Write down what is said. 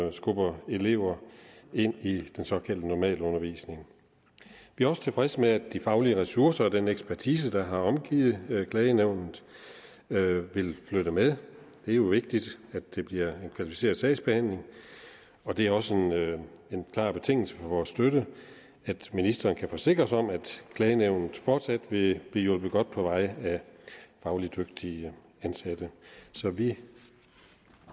at skubbe elever ind i den såkaldte normalundervisning vi er også tilfredse med at de faglige ressourcer og den ekspertise der har omgivet klagenævnet vil flytte med det er jo vigtigt at det bliver en kvalificeret sagsbehandling og det er også en klar betingelse for vores støtte at ministeren kan forsikre os om at klagenævnet fortsat vil blive hjulpet godt på vej af fagligt dygtige ansatte så vi